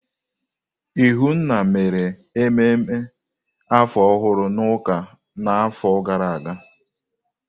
Ihunna mere ememe afọ ọhụrụ n'ụka n'afọ gara aga.